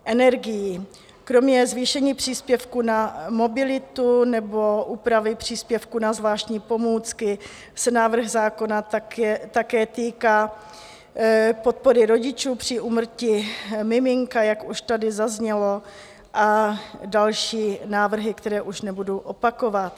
Kromě zvýšení příspěvků na mobilitu nebo úpravy příspěvků na zvláštní pomůcky se návrh zákona také týká podpory rodičů při úmrtí miminka, jak už tady zaznělo, a další návrhy, které už nebudu opakovat.